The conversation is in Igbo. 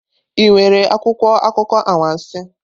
Ị nwere akwụkwọ akụkọ anwansi?